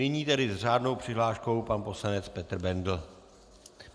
Nyní tedy s řádnou přihláškou pan poslanec Petr Bendl.